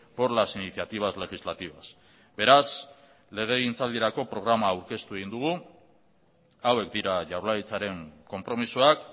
por las iniciativas legislativas beraz legegintzaldirako programa aurkeztu egin dugu hauek dira jaurlaritzaren konpromisoak